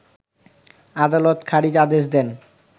আদালত খারিজ আদেশ দেন